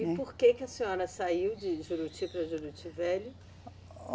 E por que que a senhora saiu de Juruti para Juruti Velho?